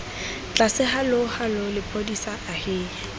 tlase hallo hallo lephodisa ahee